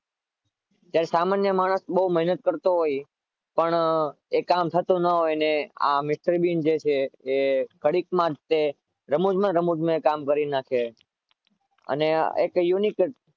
સામાન્ય માણસ બહુ મેહનત કરતો હોય છે પણ એ કામ થતું ના હોય પણ આ જે mister bean છે એ ઘડીકમાં રમૂજ માં ને રમૂજ માં કામ કરી નાખે અને એ unique